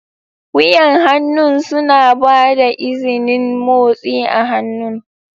Wuyan hannu suna ba da izinin motsi a hannu.